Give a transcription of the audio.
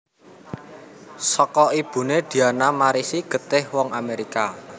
Saka ibuné Diana marisi getih wong Amérika